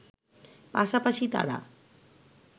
পাশাপাশি তারা